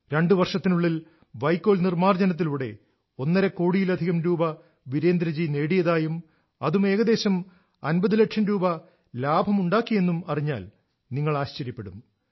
രണ്ട് വർഷത്തിനുള്ളിൽ വൈക്കോൽ നിർമാർജ്ജനത്തിലൂടെ ഒന്നര കോടിയിലധികം രൂപ വീരേന്ദ്ര ജി നേടിയതായും അതും ഏകദേശം 50 ലക്ഷം രൂപ ലാഭമുണ്ടാക്കിയെന്നും അറിഞ്ഞാൽ നിങ്ങൾ ആശ്ചര്യപ്പെടും